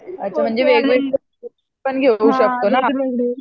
अच्छा म्हणजे वेगवेगळे कोर्स पण घेऊ शकतो ना